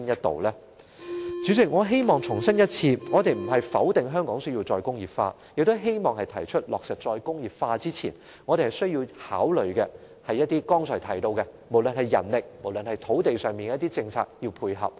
代理主席，我重申我們並非否定香港須實現"再工業化"，而是希望提出落實"再工業化"前，須考慮剛才提到的人力和土地方面的政策應否互相配合。